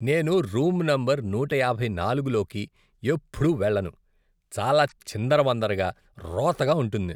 నేను room number నూట యాభై నాలుగు లోకి ఎప్పుడూ వెళ్ళను, చాలా చిందరవందరగా, రోతగా ఉంటుంది.